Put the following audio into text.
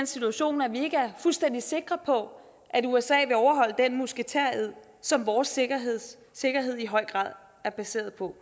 situation at vi ikke er fuldstændig sikre på at usa vil overholde den musketered som vores sikkerhed sikkerhed i høj grad er baseret på